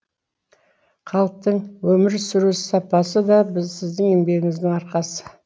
халықтың өмір сүру сапасы да сіздің еңбегіңіздің арқасы